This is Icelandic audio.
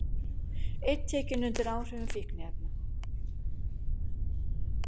Einn tekinn undir áhrifum fíkniefna